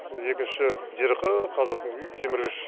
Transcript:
екінші жерқы қазатын кеміргіш